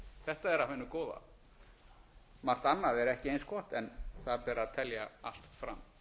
þetta er af hinu góða margt annað er ekki eins gott en það ber að telja allt fram